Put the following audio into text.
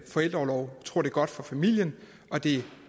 forældreorlov vi tror det er godt for familien at det er